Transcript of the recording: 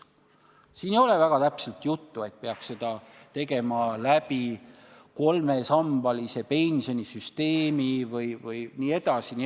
" Siin ei ole täpselt öeldud, et seda peaks tegema läbi kolmesambalise pensionisüsteemi jne.